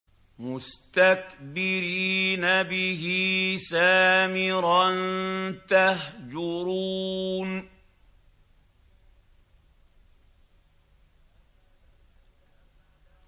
مُسْتَكْبِرِينَ بِهِ سَامِرًا تَهْجُرُونَ